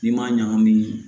N'i m'a ɲagami